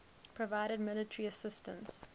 provided military assistance